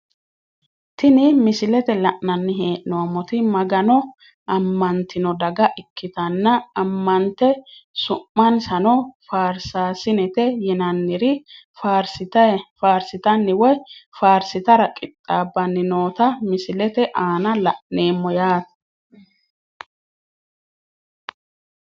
Tini misilete la`nani heenomoti magano amantino daga ikitana amante su`mansano farsasinete yinanir faarsitani woyi farsitara qixaabani noota misilete aana la`neemo yaate.